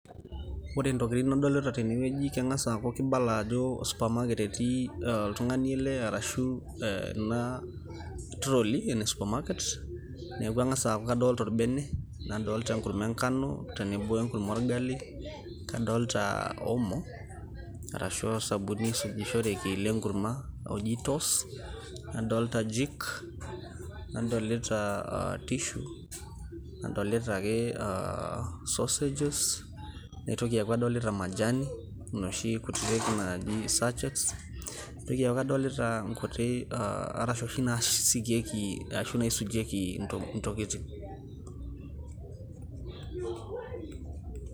ore intokitin nadolita tene naa kibala ajo supermarket oltung'ani ele arashu ena trolley supermarket. neeku kangas aaku kadolita orbene, nadolita enkurma engano, nadolita enkurma orgali, nadoolta omo arashu osabuni oisujushoreki le nkurma oji toss. nadoolta jik, nadolita[tissue nadolita ek sausages naitoki aaku kadolita majani inoshi kutitik satchets naitoki aaku kadolita inkuti arash oshi naaisujieki intokitin.